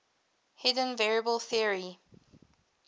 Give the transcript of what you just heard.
hidden variable theory